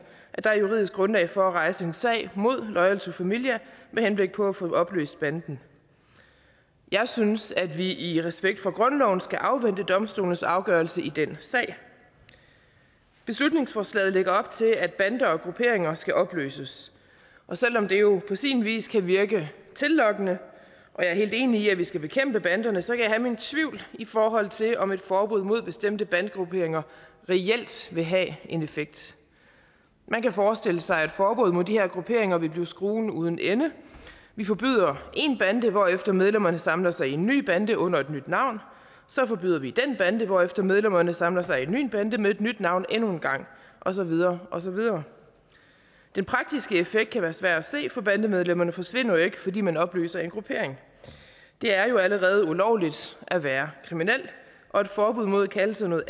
at der er juridisk grundlag for at rejse en sag mod loyal to familia med henblik på at få opløst banden jeg synes at vi i respekt for grundloven skal afvente domstolenes afgørelse i den sag beslutningsforslaget lægger op til at bander og grupperinger skal opløses og selv om det jo på sin vis kan virke tillokkende og jeg er helt enig i at vi skal bekæmpe banderne så kan jeg have mine tvivl i forhold til om et forbud mod bestemte bandegrupperinger reelt vil have en effekt man kan forestille sig at et forbud mod de her grupperinger vil blive skruen uden ende vi forbyder én bande hvorefter medlemmerne samler sig i en ny bande under et nyt navn og så forbyder vi den bande hvorefter medlemmerne samler sig i en ny bande med et nyt navn og så videre og så videre den praktiske effekt kan være svær at se for bandemedlemmerne forsvinder jo ikke fordi man opløser en gruppering det er jo allerede ulovligt at være kriminel og et forbud mod at kalde sig noget